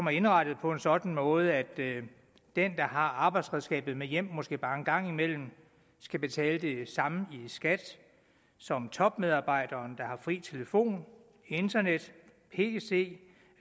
er indrettet på en sådan måde at den der har arbejdsredskabet med hjem måske bare en gang imellem skal betale det samme i skat som topmedarbejderen der har fri telefon internet pc